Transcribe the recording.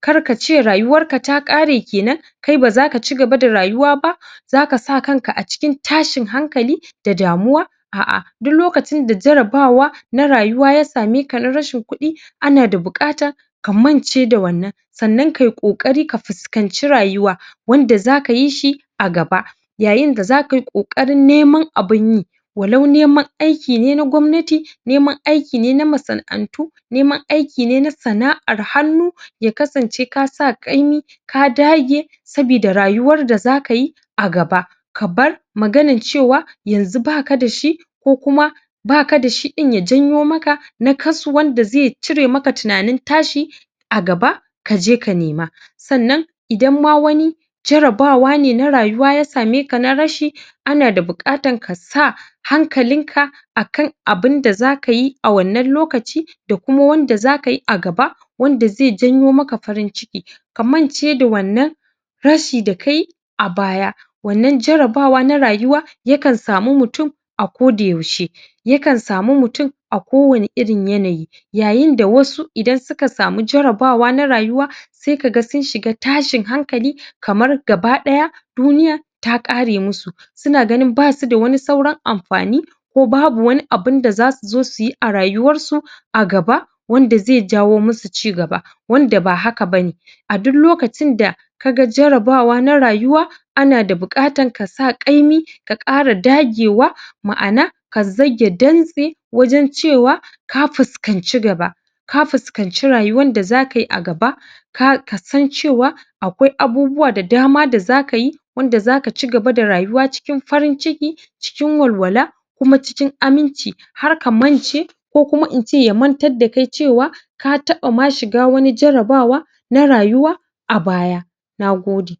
kar kace rayuwar ka ta ƙare kenan, kai ba zaka cigaba da rayuwa ba zaka sa kan ka a cikin tashin hankali da damuwa a'a duk lokacin da jarabawa na rayuwa ya same ka na rashin kuɗi ana da buƙata ka mance da wannan sannan kai ƙoƙari ka fuskanci rayuwa wanda zaka yi shi a gaba yayin da zaka yi ƙoƙarin neman abin yi walau neman aiki ne na gwamnati, neman aiki ne na masana'antu neman aiki ne na sana'ar hannu ya kasance ka sa ƙaimi ka dage sabida rayuwar da zaka yi a gaba ka bar maganan cewa yanzu baka da shi ko kuma baka da shi ɗin ya janyo maka nakasu wanda ze cire maka tunanin tashi a gaba kaje ka nema sannan idan ma wani jarabawa ne na rayuwa ya same ka na rashi ana da buƙatan ka sa hankalin ka a kan abinda zaka yi a wannan lokaci da kuma wanda zaka yi a gaba wanda ze janyo maka farin ciki ka mance da wannan rashi da kayi a baya, wannan jarabawa na rayuwa yakan samu mutun a kodayaushe yakan samu mutun a kowani irin yanayi yayin da wasu idan suka samu jarabawa na rayuwa sai kaga sun shiga tashin hankali kamar gabaɗaya duniya ta ƙare musu suna ganin basu da wani sauran amfani ko babu wani abunda zasu zo suyi a rayuwar su a gaba wanda zai jawo musu cigaba, wanda ba haka bane a duk lokacin da kaga jarabawa na rayuwa ana da buƙatan kasa ƙaimi ka ƙara dagewa, ma'ana ka zage dantse wajen cewa ka fuskanci gaba ka fuskanci rayuwan da zaka yi a gaba ka san cewa akwai abubuwa da dama da zaka yi wanda zaka cigaba da rayuwa cikin farin ciki, cikin walwala kuma cikin aminci har ka mance ko kuma in ce ya mantar da kai cewa ka taɓa ma shiga wani jarabawa na rayuwa a baya. Na gode.